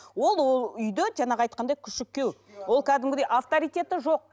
ол үйде жаңағы айтқандай күшік күйеу ол кәдімгідей авторитеті жоқ